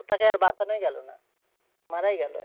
তাকে আর বাঁচানোই গেলনা মারাই গেল।